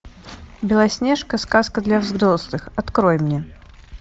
белоснежка сказка для взрослых открой мне